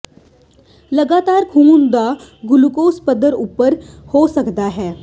ਲਗਾਤਾਰ ਖੂਨ ਦਾ ਗੁਲੂਕੋਜ਼ ਪੱਧਰ ਉੱਚਾ ਹੋ ਸਕਦਾ ਹੈ